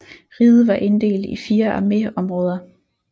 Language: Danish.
Riget var inddelt i 4 arméområder